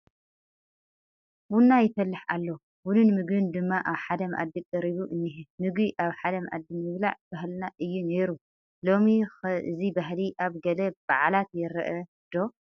ቡን ይፈልሕ ኣሎ፡፡ ቡንን ምግብን ድማ ኣብ ሓደ መኣዲ ቀሪቡ እኒሀ፡፡ ምግቢ ኣብ ሓደ መኣዲ ምብላዕ ባህልና እዩ ነይሩ፡፡ ሎሚ ኸ እዚ ባህሊ ኣብ ገለ በዓላት ይርአ ዶ?